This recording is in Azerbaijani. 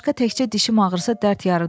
Bundan başqa təkcə dişm ağrısa dərd yarıdı.